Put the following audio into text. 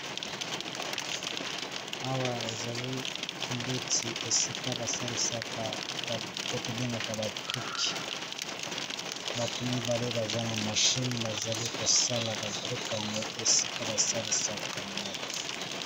Awa ezali esika basalaka ba briques oyo batu basalisaka pona kotonga ba ndaku